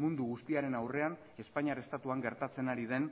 mundu guztiaren aurrean espainiar estatuan gertatzen ari den